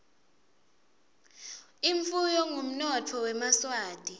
imfuyo ngumnotfo wemaswati